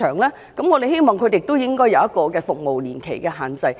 故此，我們希望訂出一定的服務年期的限制。